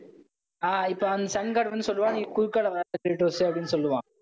ஆஹ் இப்ப அந்த sun guard வந்து சொல்லுவான். நீ குறுக்கால வராதே க்ரேடோஸூ அப்படின்னு சொல்லுவான்